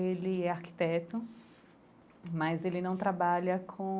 Ele é arquiteto, mas ele não trabalha com